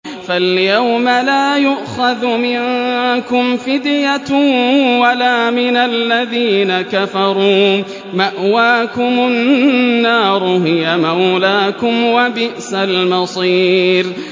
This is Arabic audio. فَالْيَوْمَ لَا يُؤْخَذُ مِنكُمْ فِدْيَةٌ وَلَا مِنَ الَّذِينَ كَفَرُوا ۚ مَأْوَاكُمُ النَّارُ ۖ هِيَ مَوْلَاكُمْ ۖ وَبِئْسَ الْمَصِيرُ